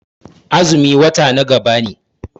Azumi wata na gaba ne.